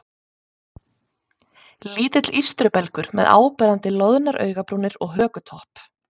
Lítill ístrubelgur með áberandi loðnar augnabrúnir og hökutopp.